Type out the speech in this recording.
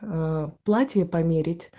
ээ платье померить